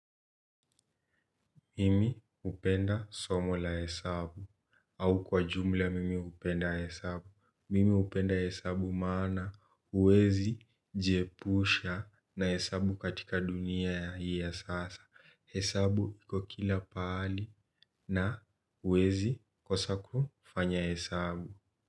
Mimi hupenda somo la hesabu au kwa jumla mimi hupenda hesabu. Mimi hupenda hesabu maana uwezi jiepusha na hesabu katika dunia hii ya sasa. Hesabu iko kila pahali na huwezi kosa kufanya hesabu.